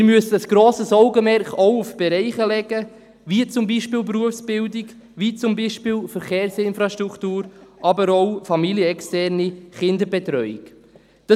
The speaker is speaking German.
Wir müssen ein grosses Augenmerk auch auf Bereiche wie zum Beispiel die Berufsbildung, die Verkehrsinfrastruktur, aber auch familienexterne Kinderbetreuung legen.